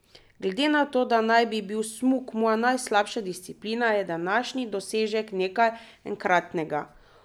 Glede na to, da naj bi bil smuk moja najslabša disciplina, je današnji dosežek nekaj enkratnega.